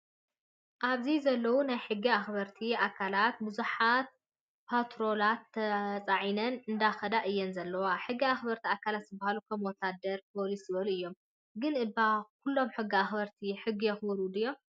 ኣብዚ ዘለው ናይ ሕጊ ኣክበርቲ ኣከላት ብዙሓት ፓትሮላት ተፃዒነን እንዳከዳ እየን ዘለዋ። ሕጊ ኣክበርቲ ኣካላት ዝበሃሉ ከም ወታድር፣ ፖሊስ ዝበሎ እዮም። ግን እባ ኩሎም ሕጊ ኣክበርቲ ሕጊ የክብሩ ድዮም ?